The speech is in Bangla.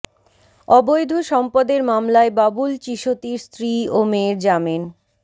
অবৈধ সম্পদের মামলায় বাবুল চিশতির স্ত্রী ও মেয়ের জামিন